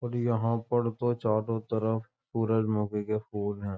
और यहां पर तो चारों तरफ सूरज मुखी के फूल हैं।